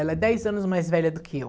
Ela é dez anos mais velha do que eu.